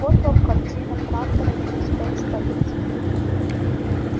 вот вам картина трантора через пять столетий